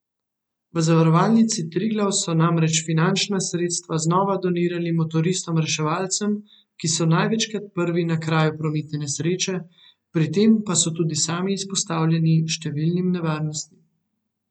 V Zavarovalnici Triglav so namreč finančna sredstva znova donirali motoristom reševalcem, ki so največkrat prvi na kraju prometne nesreče, pri tem pa so tudi sami izpostavljeni številnim nevarnostim.